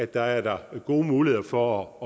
der er gode muligheder for at